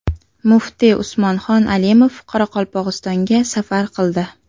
Muftiy Usmonxon Alimov Qoraqalpog‘istonga safar qildi.